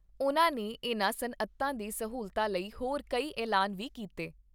ਉਨ੍ਹਾਂ ਨੇ ਇਨ੍ਹਾਂ ਸਨਅਤਾਂ ਦੀ ਸਹੂਲਤਾਂ ਲਈ ਹੋਰ ਕਈ ਐਲਾਨ ਵੀ ਕੀਤਾ ।